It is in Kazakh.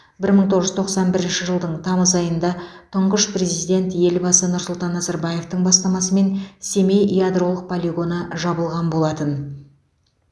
бір мың тоғыз жүз тоқсан бірінші жылдың тамыз айында тұңғыш президент елбасы нұрсұлтан назарбаевтың бастамасымен семей ядролық полигоны жабылған болатын